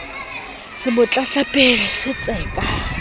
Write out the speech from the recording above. se mo tlatlapile se tseka